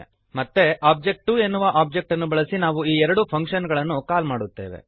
ಮತ್ತೆ ಒಬಿಜೆ2 ಎನ್ನುವ ಓಬ್ಜೆಕ್ಟ್ ಅನ್ನು ಬಳಸಿ ನಾವು ಈ ಎರಡು ಫಂಕ್ಶನ್ ಗಳನ್ನು ಕಾಲ್ ಮಾಡುತ್ತೇವೆ